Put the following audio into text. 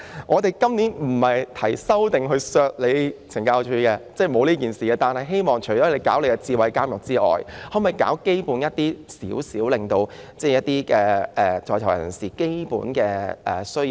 我們今年提出的修正案不是為了削減懲教署的撥款，而是希望懲教署在推行智慧監獄外，亦應做好基本的工作，適切回應在囚人士的基本需要。